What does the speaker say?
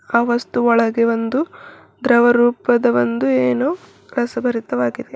ಆ ವಸ್ತು ಒಳಗೆ ಒಂದು ದ್ರವ ರೂಪದ ಒಂದು ಏನೋ ರಸಭರಿತವಾಗಿದೆ.